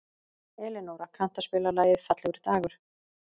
Elinóra, kanntu að spila lagið „Fallegur dagur“?